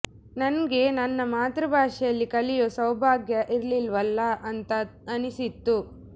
ನಂಗೆ ನನ್ನ ಮಾತೃ ಭಾಷೆಯಲ್ಲಿ ಕಲಿಯೋ ಸೌಭಾಗ್ಯ ಇರ್ಲಿಲ್ವಲ್ಲಾ ಅಂತ ಅನ್ನಿಸ್ತು